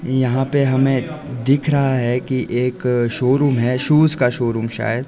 यहां पे हमें दिख रहा है कि एक शोरूम है शूज का शोरूम शायद--